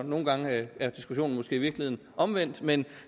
nogle gange er diskussionen måske i virkeligheden omvendt men